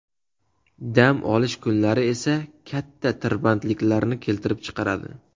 Dam olish kunlari esa katta tirbandliklarni keltirib chiqaradi.